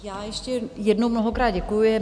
Já ještě jednou mnohokrát děkuji.